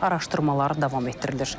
Araşdırmalar davam etdirilir.